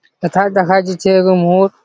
হেথায় দেখা যাচ্ছে এগো মোর --